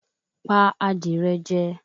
Pa adìrẹ jẹ